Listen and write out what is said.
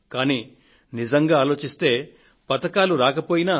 కానీ నిజంగా ఆలోచిస్తే పతకాలు రాకపోయినా